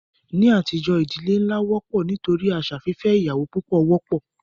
Ní àtijọ́, ìdílé nlá wọ́pọ̀ nítorí wípé àṣà fífẹ́ ìyàwó púpọ wọ́pọ̀.